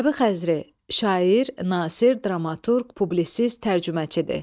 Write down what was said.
Nəbi Xəzri şair, nasir, dramaturq, publisist, tərcüməçidir.